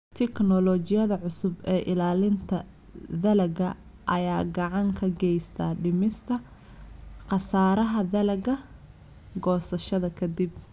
Tignoolajiyada cusub ee ilaalinta dalagga ayaa gacan ka geysta dhimista khasaaraha dalagga goosashada ka dib.